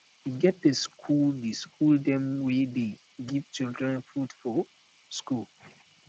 e get di skool di skool dem wey dey give children food for skool